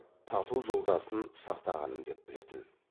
тату жолдасын сақтағаным деп білетін